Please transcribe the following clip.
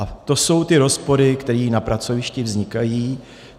A to jsou ty rozpory, které na pracovišti vznikají.